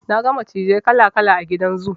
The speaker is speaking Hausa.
Na ga macizai kala kala a gidan zoo.